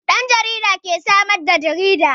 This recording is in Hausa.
Yan jarida ke samar da jarida.